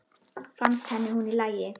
Fannst henni hún í lagi?